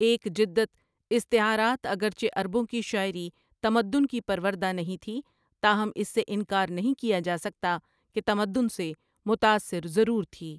ایک جدت استعارات اگرچہ عربوں کی شاعری تمدن کی پروردہ نہیں تھی تاہم اس سے انکار نہیں کیا جاسکتا کہ تمدن سے متاثر ضرور تھی ۔